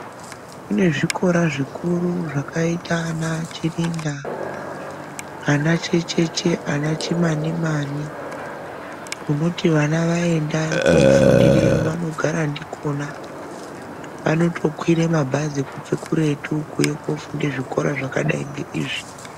Kune zvikora zvikiru zvakita ana Chirinda ana Checheche ana Chinanimani kunoti ana aenda kunofundirayo anogara ndikona anotokwira mabhazi kubva kuretu kuuye kunofunde zvikora zvakadai ngeizvi.